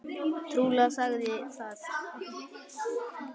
Trúleg saga það!